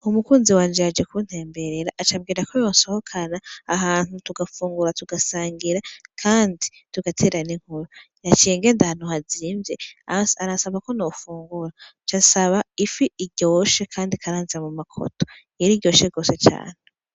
Umukunzi wanje yaje kuntemberera acambwira ko yonsohokana ahantu tugafungura, tugasangira kandi tugatera n'inkuru naciye ngenda ahantu hazimvye aransaba ko nofungura cansaba ifi iryoshe kandi ikaranze mumakoto, yariryoshe cane.